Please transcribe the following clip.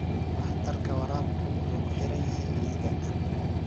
Waxtarka waraabku wuxuu ku xiran yahay ciidda.